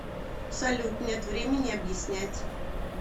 салют нет времени объяснять